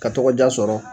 Ka tɔgɔ diya sɔrɔ